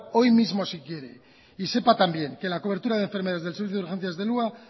hoy mismo si quiere y sepa también que la cobertura de enfermedades del servicio de urgencias del hua